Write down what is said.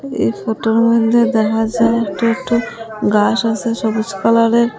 এই ফোটোর মধ্যে দেখা যায় একটু একটু গাস আসে সবুজ কালারের।